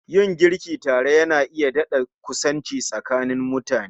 Yin girki tare Yana iya dadakusanci tsakanin mutane